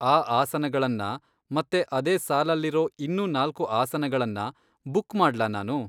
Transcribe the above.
ಆ ಆಸನಗಳನ್ನ ಮತ್ತೆ ಅದೇ ಸಾಲಲ್ಲಿರೋ ಇನ್ನು ನಾಲ್ಕು ಆಸನಗಳನ್ನ ಬುಕ್ ಮಾಡ್ಲಾ ನಾನು?